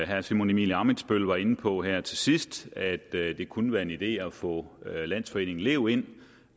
herre simon emil ammitzbøll var inde på her til sidst at det kunne være en idé at få landsforeningen lev ind